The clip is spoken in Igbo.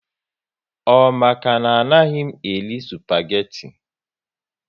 Ọ maka na anaghị m eri spageti